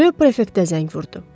Ro prefektə zəng vurdu.